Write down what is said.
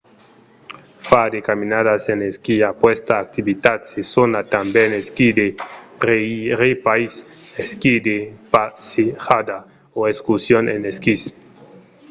far de caminadas en esquí: aquesta activitat se sona tanben esquí de rèirepaís esquí de passejada o excursion en esquís